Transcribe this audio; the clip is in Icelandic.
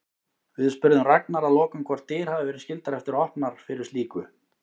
Við spurðum Ragnar að lokum hvort dyr hafi verið skyldar eftir opnar fyrir slíku?